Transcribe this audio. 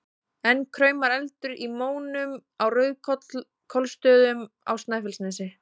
Enn kraumar eldur í mónum á Rauðkollsstöðum á Snæfellsnesi.